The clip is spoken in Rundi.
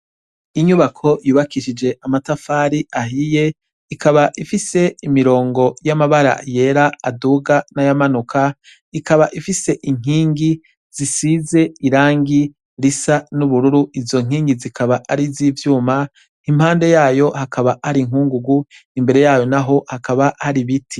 Inyubako yubakishije amatafari ahiye, ikaba ifise imirongo y'amabara yera aduga n'ayamanuka ikaba ifise inkingi zisize irangi risa n'ubururu izo nkingi zikaba ariz'ivyuma, impande yayo hakaba hari inkungugu imbere yayo naho hakaba hari ibiti.